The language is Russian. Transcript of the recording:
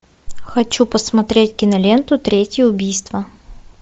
хочу посмотреть киноленту третье убийство